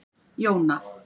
Jóna